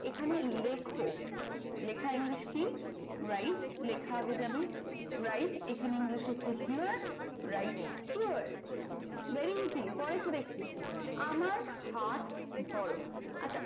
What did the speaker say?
এখানে লেখো। লেখার english কি write লেখা আগে যাবে write এখানে english হচ্ছে here write here. very easy পরেরটা দেখি। আমার হাত ধরো আচ্ছা,